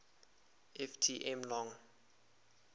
ft m long